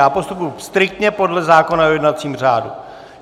Já postupuji striktně podle zákona o jednacím řádu.